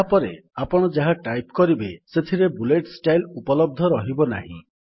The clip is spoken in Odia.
ଏହାପରେ ଆପଣ ଯାହା ଟାଇପ୍ କରିବେ ସେଥିପାଇଁ ବୁଲେଟ୍ ଷ୍ଟାଇଲ୍ ଉପଲବ୍ଧ ରହିବନାହିଁ